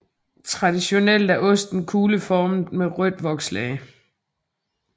Traditionelt er osten kugleformet med rødt vokslag